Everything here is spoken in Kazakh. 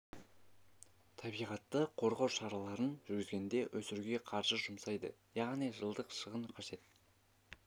табиғатты қорғау шараларын жүргізгенде -ді өсіруге қаржы жұмсалады яғни жылдық шығын қажет